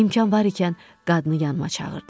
İmkan var ikən qadını yanıma çağırdım.